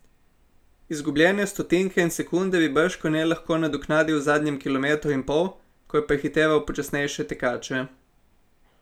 Izgubljene stotinke ali sekunde bi bržkone lahko nadoknadil v zadnjem kilometru in pol, ko je prehiteval počasnejše tekače.